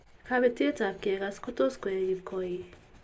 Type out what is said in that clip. Kabetet ab kegas kotot koek kipkoi